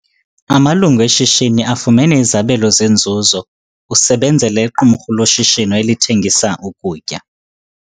Amalungu eshishini afumene izabelo zenzuzo. usebenzela iqumrhu loshishino elithengisa ukutya